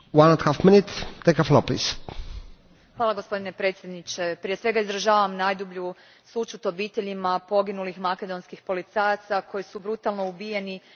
Gospodine predsjedniče, prije svega izražavam najdublju sućut obiteljima poginulih makedonskih policajaca koji su brutalno ubijeni u terorističkom napadu u Kumanovu.